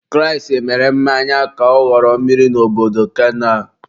Kraịst mere mmiri ka ọ ghọrọ mmanya n'obodo kana.